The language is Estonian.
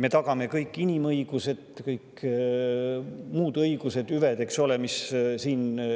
Me tagame kõik inimõigused ja muud õigused, hüved, mis on inimesele